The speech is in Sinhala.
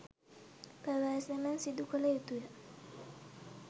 ප්‍රවේශමෙන් සිදුකල යුතුය.